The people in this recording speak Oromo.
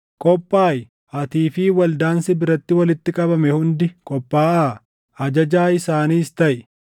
“ ‘Qophaaʼi; atii fi waldaan si biratti walitti qabame hundi qophaaʼaa; ajajaa isaaniis taʼi.